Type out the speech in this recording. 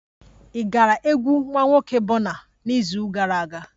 Ị gara egwu nwa nwoke Burna n'izu gara aga?